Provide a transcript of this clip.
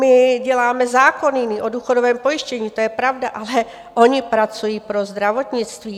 My děláme zákon nyní o důchodovém pojištění, to je pravda, ale oni pracují pro zdravotnictví.